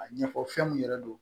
A ɲɛfɔ fɛn mun yɛrɛ don